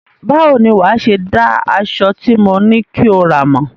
Báwo ni wàá ṣe dá aṣọ tí mo ní kí o rà mọ̀?